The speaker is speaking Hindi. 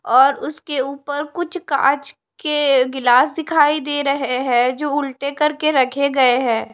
और उसके ऊपर कुछ कांच के गिलास दिखाई दे रहे है जो उल्टे करके रखे गए है।